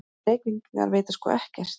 Þessir Reykvíkingar vita sko ekkert!